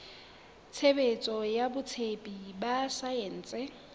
tshebetso ya botsebi ba saense